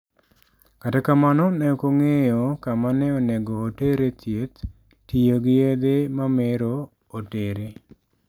Kata kamano ne ok ong'eyo kama ne onego otere thieth tiyo gi yedhe mamero otere.